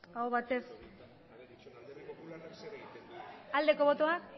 aurkako botoak abstentzioa